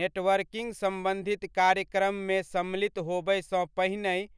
networking सम्बन्धित कार्यक्रममे सम्मिलित होबयसँ पहिनहि